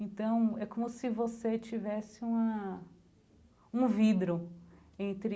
Então, é como se você tivesse uma um vidro entre.